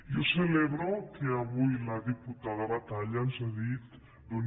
jo celebro que avui la diputada batalla ens hagi dit